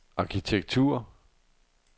arkitektur